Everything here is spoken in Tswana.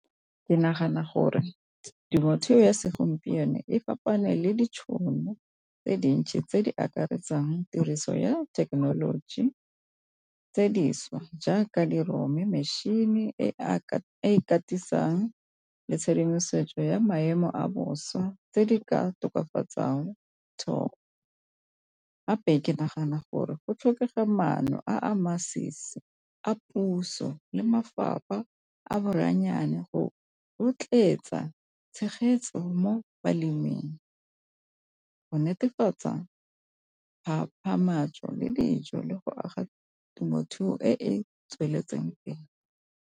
Ke nagana gore temothuo ya segompieno e kopane le ditšhono tse dintsi tse di akaretsang tiriso ya thekenoloji tse dišwa jaaka metšhini e ikatisa le tshedimosetso ya maemo a bosa tse di ka tokafatsang thobo. Gape ke nagana gore go tlhokega maano a masisi a puso le mafapha a boranyane go rotloetsa tshegetso mo baleming go netefatsa le dijo le go aga temothuo e e tsweletseng pele.